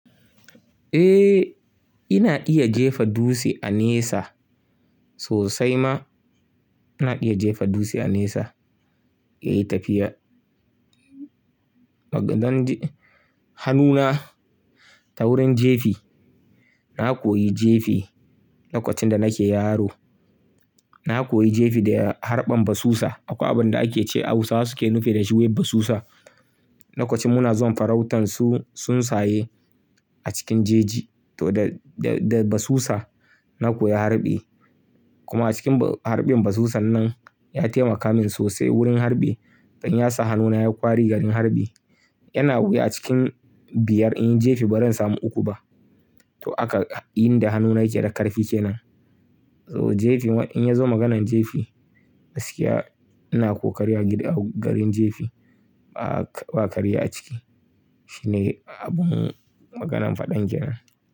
Eh, ina iya jefa dutse a nesa sosai ma. Ina iya jefa dutse a nesa, yayi tafiya. Zan ji hannuna ta wurin jefi. Na koyi jefi lokacin da nake yaro. Na koyi jefi da harɓan basusa, akwai abin da ake ce Hausawa suke nufi da shi wai basusa. Lokacin muna zuwa farautan su tsun tsaye a cikin jeji to da, da, da basusa na koyi harɓi. Kuma acikin harɓin basusan nan ya taimaka min sosai wurin harɓi. Dan ya sa hannuna ya ƙwari garin harɓi. Yana wuya a cikin biyar inyi jefi baran samu uku ba. To aka inda hannuna yake da ƙarfi kenan. To jefi in ya zo maganan jefi gaskiya ina ƙoƙari a gida garin jefi ba ƙa, ba ƙarya a ciki. Shi ne abun maganan faɗan kenan.